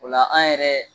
O la an yɛrɛ